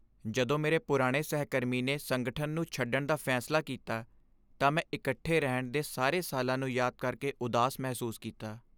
ਜਦੋਂ ਮੇਰੇ ਪੁਰਾਣੇ ਸਹਿਕਰਮੀ ਨੇ ਸੰਗਠਨ ਨੂੰ ਛੱਡਣ ਦਾ ਫੈਸਲਾ ਕੀਤਾ, ਤਾਂ ਮੈਂ ਇਕੱਠੇ ਰਹਿਣ ਦੇ ਸਾਰੇ ਸਾਲਾਂ ਨੂੰ ਯਾਦ ਕਰਕੇ ਉਦਾਸ ਮਹਿਸੂਸ ਕੀਤਾ।